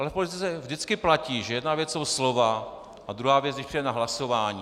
Ale v politice vždycky platí, že jedna věc jsou slova a druhá věc, když přijde na hlasování.